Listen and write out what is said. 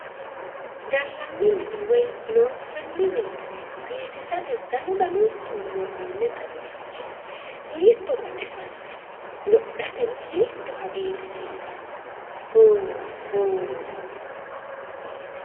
Gallanni mine woyi loonsanni mine biifisate danu danunkunni worroonni daraarchi hiitto baxisanno! Wodhateno hiitto hagiirsiisanno! Hoola! Hoola!